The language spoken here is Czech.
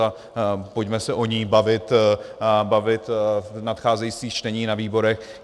A pojďme se o ní bavit v nadcházejících čteních na výborech.